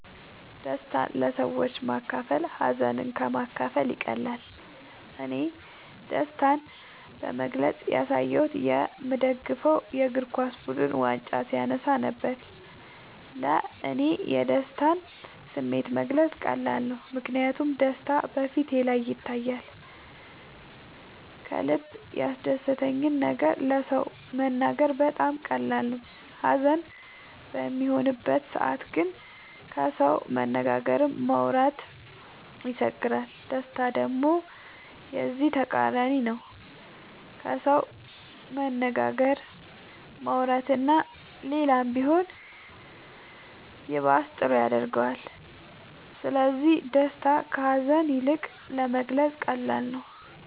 ደስታን ለሰዎች ማካፈል ሀዘንን ከ ማካፈል ይቀላል እኔ ደስታን በግልፅ ያሳየሁት የ ምደግፈው የ እግርኳስ ቡድን ዋንጫ ሲያነሳ ነበር። ለ እኔ የደስታን ስሜት መግለፅ ቀላል ነው ምክንያቱም ደስታ በ ፊቴ ላይ ይታያል ከልበ ያስደሰተን ነገር ለ ሰው መናገር በጣም ቀላል ነው ሀዘን በሚሆንበት ሰዓት ግን ከሰው መነጋገርም ማውራት ይቸግራል ደስታ ደሞ የዚ ተቃራኒ ነው ከሰው መነጋገር ማውራት እና ሌላም ቢሆን ይባስ ጥሩ ያረገዋል ስለዚ ደስታ ከ ሀዛን ይልቅ ለመግለፃ ቀላል ነው።